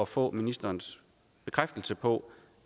få ministerens bekræftelse på